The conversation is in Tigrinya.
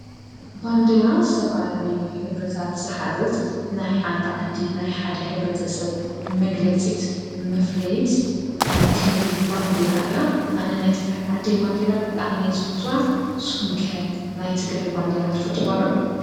ባንዴራ ዝተፈላለዩ ሕብርታት ዝሓዘት ናይ ሓንቲ ዓዲ ናይ ሓደ ሕብረተሰብ መግለፂት መፍልይት ናይ ክብሪ ባንዴራ እያ ኣነ ናይ ትግራይ ዓደይ ባንዴራ ብጣዕሚ እየ ዝፈትዋ ንስኹምከ ናይ ትግራይ ባንዴራ ትፈትውዋ ዶ?